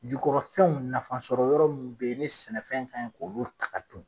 Jukɔrɔfɛnw nafa sɔrɔ yɔrɔ m be ye ni sɛnɛfɛn kɛn k'olu ta ka dun